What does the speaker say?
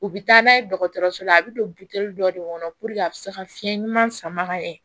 U bɛ taa n'a ye dɔgɔtɔrɔso la a bɛ don dɔ de kɔnɔ a bɛ se ka fiɲɛ ɲuman sama ka ɲɛ